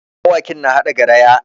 Mawakin na haɗa garaya.